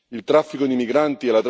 Il traffico di migranti...